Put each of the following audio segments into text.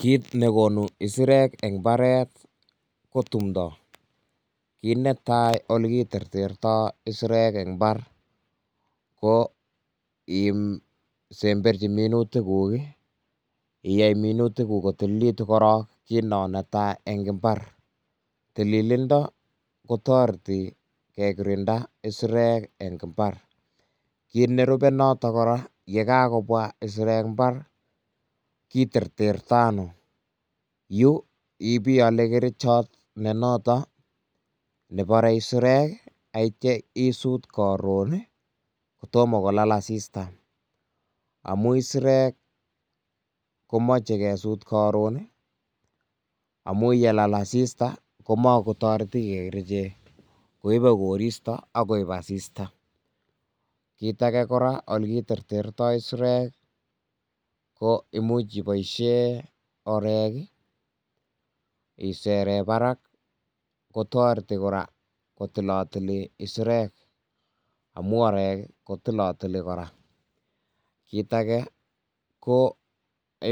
Kit nekonu isirek eng mbaret ko tumdo, kit netai oleki terterto isirek eng mbar, ko isemberchi minutik kuk ii iyoe minutik kuk kotililekituk korong ii, kit non netaa eng mba, tililindo kotoreti kekirinda isirek eng imbar kit, nerube notok kora, yekakobwa isirek imbar kiterteretono, yu ibiyole kerichot nenoton nebore isirek, ak ityok isut karon ii kotomo kolal asista amun isirek komoche kesut karon amun yelal asista komakotoreti kii kerichek, koibe koristo ak koib asista, kit ake kora oleki terterto isirek Ii ko imuch iboisyen orek ii iseren barak kotoreti kora kotilotili isirek, amun orek kotilotili kora,, kit ake ko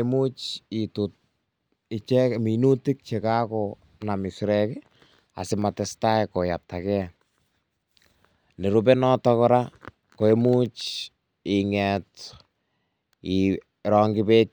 imuch itut minutik chekakonam isirek asimatestai koletake, nerube notok ko imuch inget irongyi bek che.